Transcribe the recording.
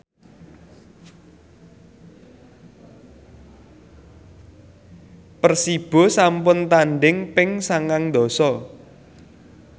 Persibo sampun tandhing ping sangang dasa